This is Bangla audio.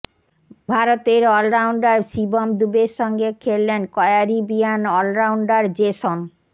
ভারতের অলরাউন্ডার শিবম দুবের সঙ্গে খেললেন ক্য়ারিবিয়ান অলরাউন্ডার জেসন